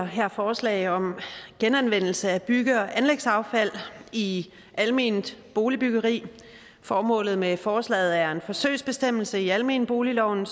her forslag om genanvendelse af bygge og anlægsaffald i alment boligbyggeri formålet med forslaget er at en forsøgsbestemmelse i almenboligloven